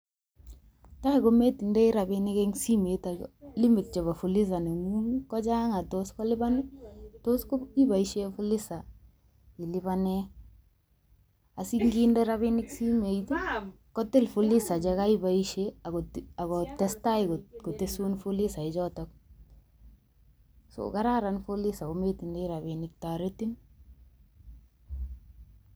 Tai kometindoi rabinik eng' simet ako limit chebo fuliza neng'ung kochang' akotos kolipan, tos ko iboisie fuliza ilipane, asinginde rabinik simoit, kotil fuliza che kaiboisie, um akotestai kotesun fuliza chotok. So kararan fuliza kometindoi rabinik, toretin